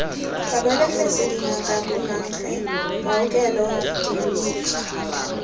babelegisi dingaka bomankge maokelo diyuniti